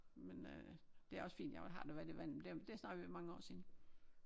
Men øh det er også fint jo jeg har da været i vandet men det er snart ved at være mange år siden